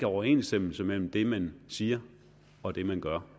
overensstemmelse mellem det man siger og det man gør